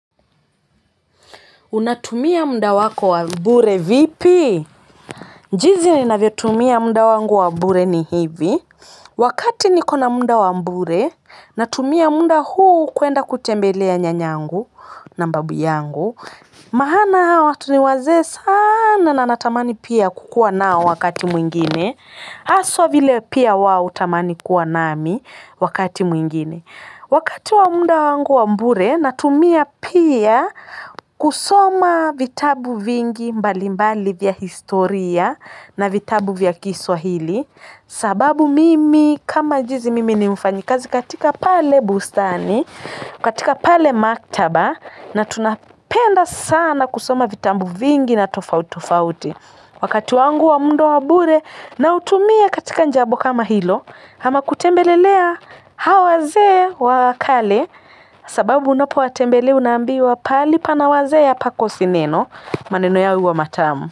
Unatumia muda wako wa bure vipi? Jinsi ninavyo tumia munda wangu wa bure ni hivi. Wakati niko na muda wa bure natumia wakati huu kwenda kutembelea nyanyangu na babu yangu maana hawa watu ni wazee sana na natamani pia kukuwa nao wakati mwingine. Haswa vile pia wao hutamani kuwa nami wakati mwingine. Wakati wa munda wangu wa bure, natumia pia kusoma vitabu vingi mbali mbali vya historia na vitabu vya kiswahili. Sababu mimi kama jinsi mimi ni mfanyikazi katika pale bustani, katika pale maktaba na tunapenda sana kusoma vitabu vingi na tofauti tofauti. Wakati wangu wa muda wa bure nautumia katika jambo kama hilo ama kutembelea hao wazee wa kale sababu unapo watembela unambiwa pahali pana wazee hapakosi neno. Maneno yao huwa matamu.